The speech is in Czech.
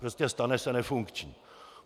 Prostě, stane se nefunkčním.